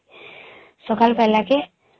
ସଖାଳ ପାଇଲା କେ